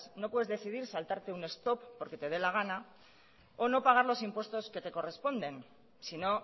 no puedes decidir saltarte un stop porque te dé la gana o no pagar los impuestos que te corresponden si no